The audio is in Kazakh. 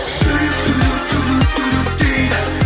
жүрек дейді